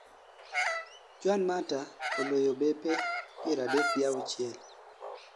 juan mata oloyo bape piera adek gi auchiel